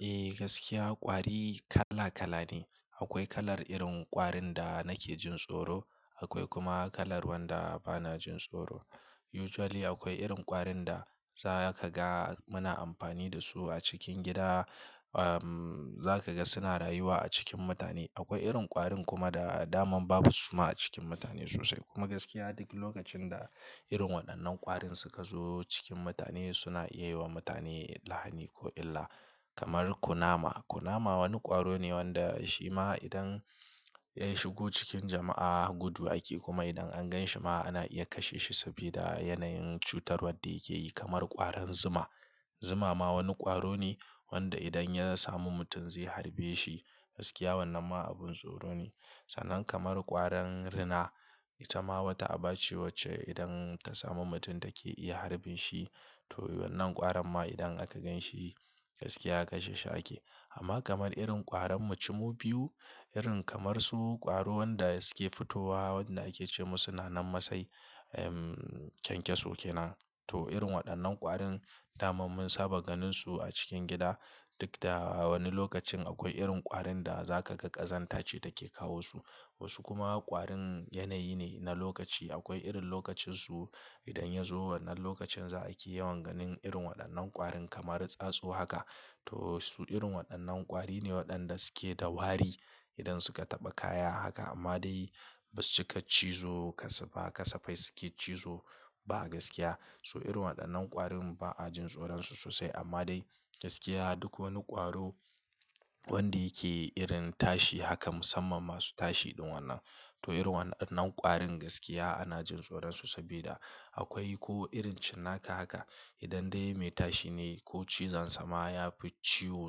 Eh gaskiya kwari kala kala ne. Akwai kalar irin kwarin da nake jin tsoro, akwai kuma kalar wanda bana jin tsoro. Usually akwai irin kwarin da za ka ga muna amfani da su a cikin gida. Za ka ga suna rayuwa a cikin mutane. Akwai irin kwarin kuma da daman babu suma a cikin mutane sosai. Kuma gaskiya duk lokacin da irin waɗannan kwarin suka zo cikin mutane suna iya yi wa mutane lahani ko illa. Kamar kunama. Kunama wani kwaro ne wanda shima idan ya shigo cikin jama'a gudu ake. Kuma idan an gan shi ma ana iya kashe shi saboda yanayin cutarwa da yake yi. Kamar ƙwarin zuma. Zuma ma wani kwaro ne wanda idan ya samu mutum zai harbe shi. Gaskiya wannan ma abin tsoro ne. Sannan kamar ƙwarin rina ita ma wata aba ce wacce idan ta samu mutum take iya harbin shi. To wannan ƙwarin ma idan aka gan shi gaskiya kashe shi ake. Amma kamar irin ƙwarin mu cimmu biyu, irin kamar su kwaro wanda suke fitowa waɗanda ake ce masu suna nan masai, kyankyaso kenan. To irin waɗannan ƙwarin daman mun saba ganin su a cikin gida. Duk da wani lokacin akwai irin ƙwarin da za ka ga ƙazanta ce take kawo su. Wasu kuma ƙwarin yanayi ne na lokaci. Akwai irin lokacin su idan ya zo wannan lokacin za a ke yawan ganin irin waɗannan ƙwarin kamar tsatsu haka. To su irin wannan ƙwari ne waƴanda suke da wari idan suka taba kaya haka, amma dai basu ciki cizo kasafai ba gaskiya to irin wa innan ƙwarin ba a jin tsoron su sosai amma dai gaskiya duk wani ƙwaro wanda yake irin tashi haka musamman masu tashi irin wannan to irin wa'innan ƙwarin gaskiya ana jin tsoran su sabi da akwai ko irin su cinnaka idan dai mai tashi neh ko cizonsa ma yafi ciwo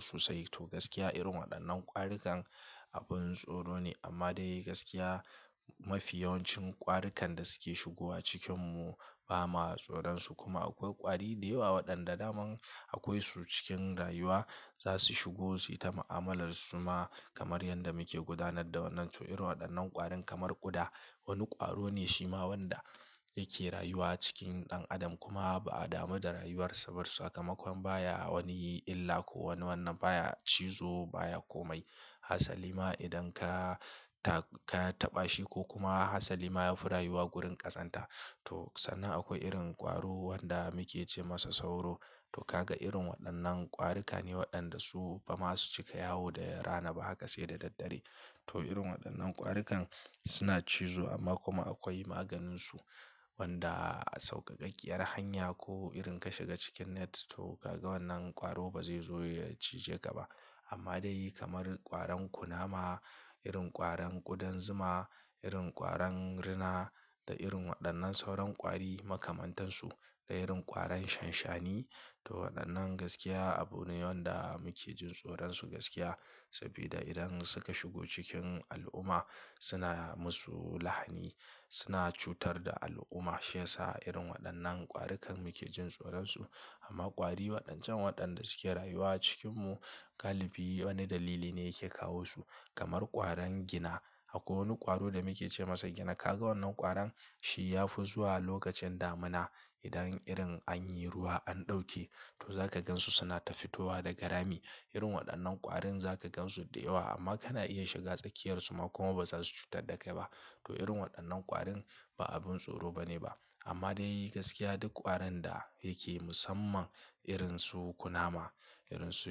sosai to gaskiya irin waɗannan ƙwarikan abin tsoro ne. Amma dai gaskiya mafi yawancin ƙwarikan da suke shigowa cikin mu ba ma tsoron su. Kuma akwai ƙwari da yawa waɗanda daman akwai su cikin rayuwa. Za su shigo su yi ta ma'amalar suma kamar yadda muke gudanar da wannan. To irin waɗannan ƙwarin kamar ƙuda. Wani ƙwaro ne shima wanda yake rayuwa cikin ɗan adam kuma ba a damu da rayuwar sa. Saboda sakamakon baya wani illa ko wani wannan, baya cizo baya komai. Hassan liman idan ka ta-ka taɓa shi ko kuma Hassan liman ya fi rayuwa gurin ƙazanta. To sannan akwai irin ƙwaro wanda muke ce masa sauro. To ka ga irin waɗannan ƙwarikan ne waɗanda su ba masu cika yawo da rana ba haka sai da daddare. To irin waɗannan ƙwarikan suna cizo amma kuma akwai maganin su wanda a sauƙaƙaƙiyar hanya ko irin ka shiga cikin net. To ka ga wannan ƙwaro ba zai zo ya cije ka ba. Amma dai kamar ƙwarin kunama, irin ƙwarin ƙudan zuma, irin ƙwarin rina da irin waɗannan sauran ƙwari makamantansu da irin ƙwarin shanshani. To waɗannan gaskiya abune wanda muke jin tsoron su gaskiya. Sabida idan suka shigo cikin al'umma suna yi masu lahani, suna cutar da al'umma. Shiyasa irin waɗannan ƙwarikan muke jin tsoron su. Amma ƙwari waɗancan waɗanda suke rayuwa cikin mu, galibi wani dalili ne yake kawo su. Kamar ƙwarin gina. Akwai wani ƙwaro da muke ce masa gina. Ka ga wannan ƙwarin shi ya fi zuwa lokacin damina. Idan irin an yi ruwa an ɗauke to za ka gan su suna ta fitowa daga rami. Irin waɗannan ƙwarin za ka gansu da yawa amma kana iya shiga tsakiyar su kuma ba za su cutar da kai ba. To ririn wa innan ƙwarin ba abun tsoro bane ba amma dai gaskiya duk ƙwarin da yake musamman irin su kunama, irin su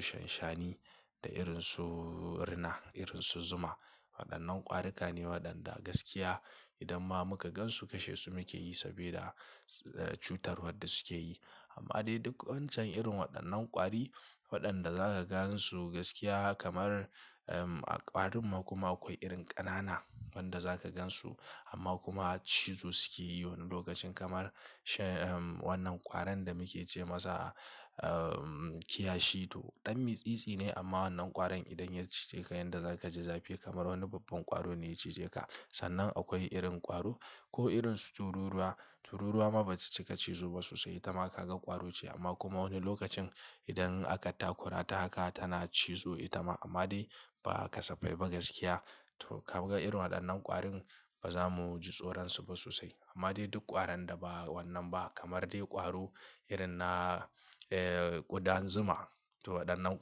shanshani da irin su rina, irin su zuma. Waɗannan ƙwarikan ne waɗanda gaskiya idan ma muka gan su kashe su muke yi saboda cutarwar da suke yi. Amma dai duk wancan irin waɗannan ƙwari, waɗanda za ka gan su gaskiya kamar ƙwarin kuma akwai irin ƙanana wanda za ka gan su amma kuma cizo suke yi wani lokacin kamar wannan ƙwarin da muke ce masa kiyashi. To ɗan mitsitsi ne amma wannan ƙwarin idan ya cije ka yanda za ka ji zafi kamar wani babban ƙwaro ne ya cije ka. Sannan akwai irin ƙwaro ko irin su tururuwa. Tururuwa ma ba su cika cizo ba sosai. Ita ma ka ga ƙwaro ce amma kuma wani lokacin idan aka takura ta haka tana cizo ita ma amma dai ba kasafai ba gaskiya. To ka ga irin waɗannan ƙwarin ba za mu ji tsoron su ba sosai. Amma dai duk ƙwarin da ba wannan ba kamar dai ƙwaro irin na, eh ƙudan zuma to waɗannan.